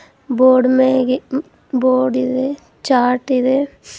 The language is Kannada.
ಬೋರ್ಡ್ ಮ್ಯಾಗೆ ಮ್ಮ್-ಬೋರ್ಡ್ ಇದೆ ಚಾರ್ಟ್ ಇದೆ.